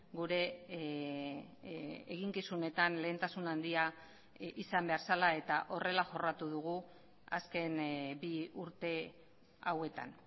gure eginkizunetan lehentasuna handia izan behar zela eta horrela jorratu dugu azken bi urte hauetan